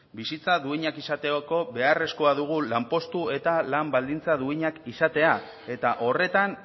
bizitza duinak izateko beharrezkoa dugu lanpostu eta lan baldintza duinak izatea eta horretan